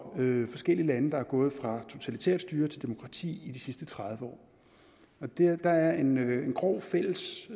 forskellige lande der er gået fra et totalitært styre til demokrati i de sidste tredive år der er en grov fælles